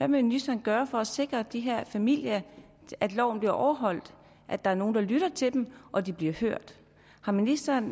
ministeren gøre for at sikre de her familier at loven bliver overholdt at der er nogen der lytter til dem og at de bliver hørt har ministeren